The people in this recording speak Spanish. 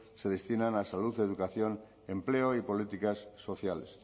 se destinan a salud educación empleo y políticas sociales